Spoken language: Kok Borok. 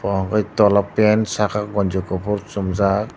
bo hwnkhe tola pant saka ganji kuphur chumjak.